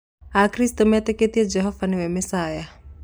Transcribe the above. Akristiano metĩkĩtie Jesu niwe mecia